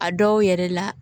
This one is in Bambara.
A dɔw yɛrɛ la